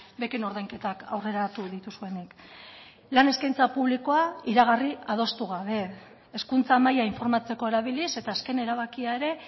beken ordainketak aurreratu dituzuenik lan eskaintza publikoa iragarri adostu gabe hezkuntza maila informatzeko erabiliz eta azken erabakia ere